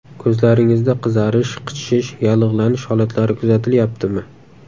Ko‘zlaringizda qizarish, qichishish, yallig‘lanish holatlari kuzatilyaptimi?